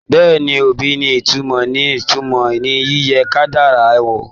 Bẹ́ẹ̀ni, obì ní ìtumọ̀ ní ìtumọ̀ ní yíyẹ kádàrá wò.